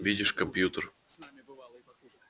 видишь компьютер